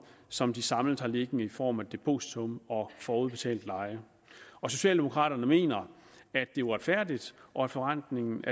som de samlet har liggende i form af depositum og forudbetalt leje og socialdemokraterne mener at det er uretfærdigt at forrentningen